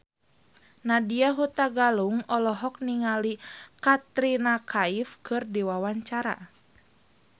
Nadya Hutagalung olohok ningali Katrina Kaif keur diwawancara